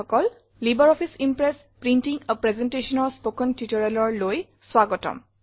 LibreOffice Impress printing a Presentationৰ spoken Tutorialলৈ স্বাগতম